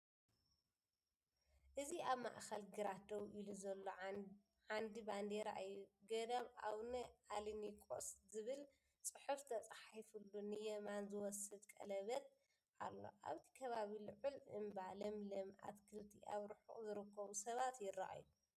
እዚ ኣብ ማእከል ግራት ደው ኢሉ ዘሎ ዓንዲ ባንዴራ እዩ። 'ጎዳም ኣቡነ ኣለኒቆስ' ዝብል ጽሑፍ ተጻሒፉሉ ንየማን ዝወስድ ቀለቤት ኣሎ። ኣብቲ ከባቢ ልዑል እምባ፡ ለምለም ኣትክልቲ፡ ኣብ ርሑቕ ዝርከቡ ሰባት ይረኣዩ።